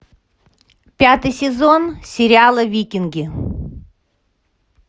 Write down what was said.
пятый сезон сериала викинги